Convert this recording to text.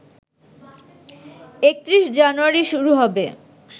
৩১ জানুয়ারি শুরু হবে